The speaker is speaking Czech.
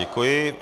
Děkuji.